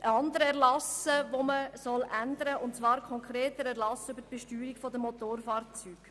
Unter Kapitel II., Änderung anderer Erlasse, wird das BFSG geändert.